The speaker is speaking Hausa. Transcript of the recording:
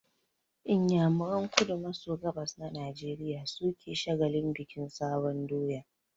Inyamuran kudu maso gabas na Najeriya su ke shagalin bikin sabon doya